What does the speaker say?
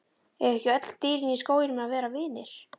Eiga ekki öll dýrin í skóginum að vera vinir?